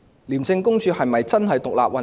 廉署是否真的獨立運作？